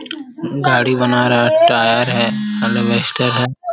गाड़ी बना रहा है। टायर है अलबस्टर है।